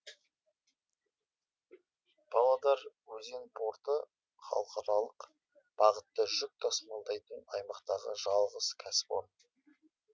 павлодар өзен порты халықаралық бағытта жүк тасымалдайтын аймақтағы жалғыз кәсіпорын